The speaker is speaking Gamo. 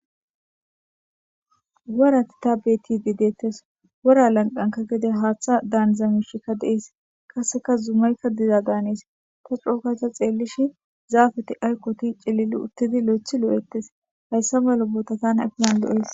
Worati ta beti di deettes wora lanqanka gede haaththa daanzamishikka deees kasseka zuumaykka diza gaaniis ta cookata xeellishi zaafete ayqoti cilili uttidi lo'ethi loo'ettes hayssa malo bootatan akilan do'ees